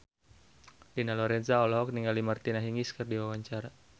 Dina Lorenza olohok ningali Martina Hingis keur diwawancara